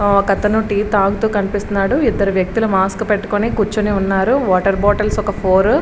ఒక అతను టీ తాగుతు కనిపిస్తున్నాడు. ఇద్దరు వ్యక్తులు మాస్క్ పెట్టుకొని ఉన్నారు. వాటర్ బాటిల్స్ ఒక ఫోర్ --